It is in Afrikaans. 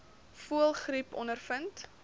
voëlgriep ondervind